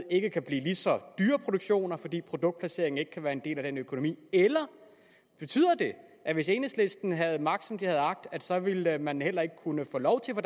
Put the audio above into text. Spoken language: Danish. ikke kan blive lige så dyre produktioner fordi produktplaceringen ikke kan være en del af den økonomi eller betyder det at hvis enhedslisten havde magt som de havde agt så ville man heller ikke kunne få lov til